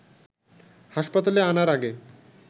হাসপাতালে আনার আগে